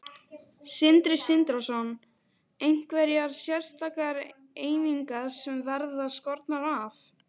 Sindri Sindrason: Einhverjar sérstakar einingar sem verða skornar af?